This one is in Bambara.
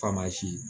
Faama si